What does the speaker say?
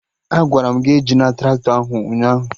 Agwara m gị ejina Traktọ ahụ ụnyaahụ!